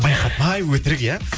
байқатпай өтірік иә